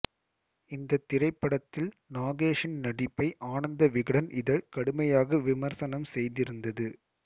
இந்தத் திரைப்படத்தில் நாகேஷின் நடிப்பை ஆனந்த விகடன் இதழ் கடுமையாக விமர்சனம் செய்திருந்தது